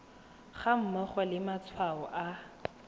ga mmogo le matshwao a